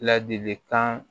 Ladilikan